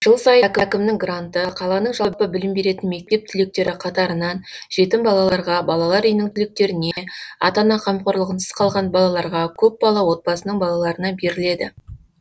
жыл сайын әкімнің гранты қаланың жалпы білім беретін мектеп түлектері қатарынан жетім балаларға балалар үйінің түлектеріне ата ана қамқорлығынсыз қалған балаларға көпбалалы отбасының балаларына беріледі